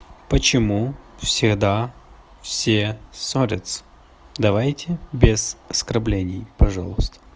почему всегда все ссорятся давайте без оскорблений пожалуйста